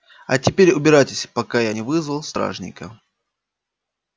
а теперь убирайтесь пока я не вызвал стражника